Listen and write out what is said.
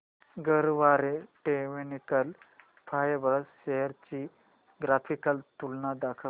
Garware technical fibres shares ची graphical तुलना दाखव